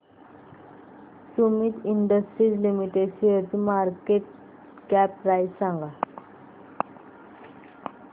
Sumeet industries limited शेअरची market cap price सांगा